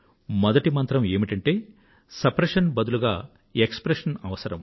మొదటి మంత్రం ఏమిటంటే సప్రెషన్ బదులుగా ఎక్స్ ప్రెషన్ అవసరం